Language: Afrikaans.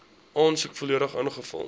aansoek volledig ingevul